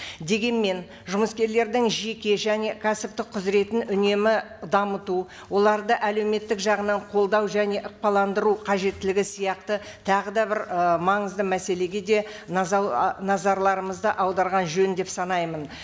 дегенмен жұмыскерлердің жеке және кәсіптік құзыретін үнемі дамыту оларды әлеуметтік жағынан қолдау және қажеттілігі сияқты тағы да бір ы маңызды мәселеге де ы назарларымызды аударған жөн деп санаймын